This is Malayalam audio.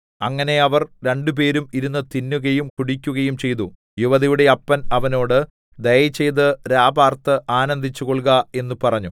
അങ്ങനെ അവർ രണ്ടുപേരും ഇരുന്ന് തിന്നുകയും കുടിക്കുകയും ചെയ്തു യുവതിയുടെ അപ്പൻ അവനോട് ദയചെയ്ത് രാപാർത്ത് ആനന്ദിച്ച് കൊൾക എന്ന് പറഞ്ഞു